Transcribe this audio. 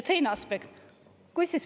Teine aspekt.